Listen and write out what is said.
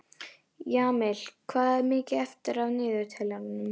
Jamil, hvað er mikið eftir af niðurteljaranum?